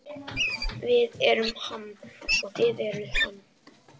Við erum Ham og þið eruð Ham.